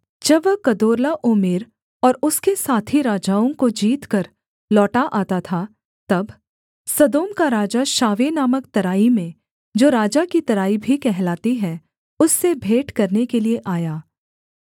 जब वह कदोर्लाओमेर और उसके साथी राजाओं को जीतकर लौटा आता था तब सदोम का राजा शावे नामक तराई में जो राजा की तराई भी कहलाती है उससे भेंट करने के लिये आया